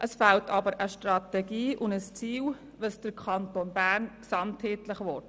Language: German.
Es fehlen aber eine Strategie und ein Ziel, dahingehend, was der Kanton Bern gesamtheitlich will.